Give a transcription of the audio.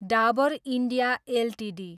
Dabur India Ltd